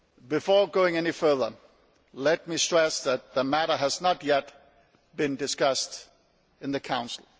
Before going any further, let me stress that the matter has not yet been discussed in the Council.